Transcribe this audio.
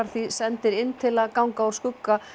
því sendir inn til að ganga úr skugga